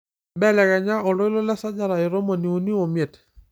mbelekenya oltoilo tesajata e tomoni uni omiet